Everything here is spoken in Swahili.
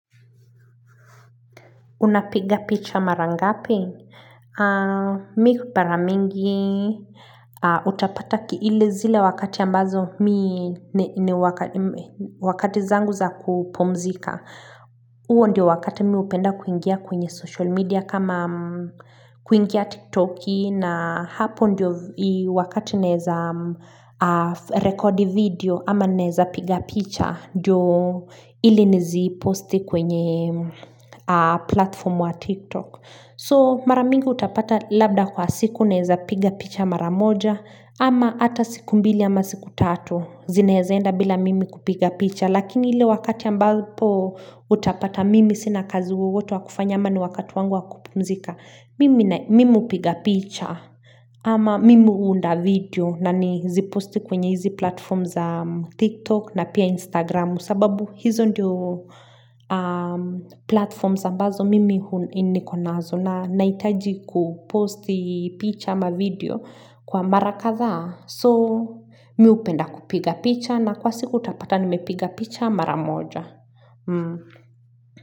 Unapiga picha mara ngapi? Mi hupara mingi. Utapata ki ile zile wakati ambazo mi wakati zangu za kupumzika. Uo ndio wakati mi upenda kuingia kwenye social media kama kuingia tiktoki. Na hapo ndio wakati naeza rekodi video ama neza piga picha ndio ili nizi posti kwenye platform wa tiktok so maramingi utapata labda kwa siku neza piga picha maramoja ama hata siku mbili ama siku tatu zineezaenda bila mimi kupiga picha lakini ile wakati ambapo utapata mimi sina kazi wowote wakufanya ama ni wakati wangu wakupumzika Mimu hupiga picha ama mimi hu unda video na ni zi posti kwenye hizi platform za tiktok na pia instagram sababu hizo ndio platform ambazo mimi hu nikonazo na naitaji kuposti picha ama video kwa mara kathaa so miupenda kupiga picha na kwa siku utapata nimepiga picha maramoja.